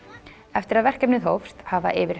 eftir að verkefnið hófst hafa yfir